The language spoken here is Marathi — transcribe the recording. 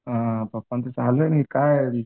हां पप्पांचं चालू आहे ना हे काय